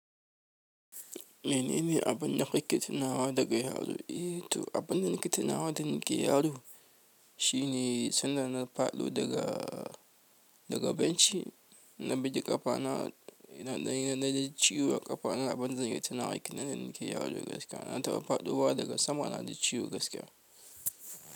Menene abunda kuke tunawa daga yaro eh toh abunda nake tunawa da nake yaro shine sanda na faɗo daga benci na buge ƙafa naji ciwo a ƙafa na abunda zan iya tunawa sanda nake yaro kenan gaskiya na taɓa faɗuwa daga sama na ji ciwo gaskiya.